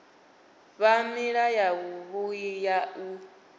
vha nila yavhui ya u